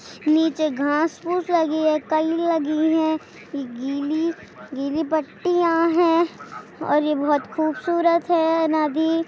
नीचे घास फूस लगी है कई लगी हैं गीली-गीली पट्टियाँ हैं और ये बहोत